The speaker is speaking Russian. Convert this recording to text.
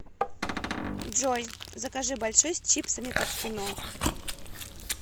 джой закажи большой с чипсами под кино